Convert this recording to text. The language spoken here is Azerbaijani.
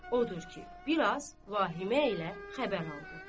Odur ki, biraz vahimə ilə xəbər oldu.